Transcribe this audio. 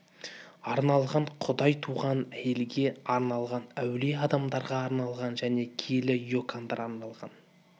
арналған құдай туған әйелге арналған әулие адамдарға арналған және киелі икондарға арналған